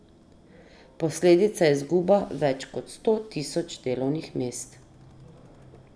Posledica je izguba več kot sto tisoč delovnih mest.